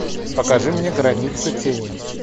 покажи мне границы тени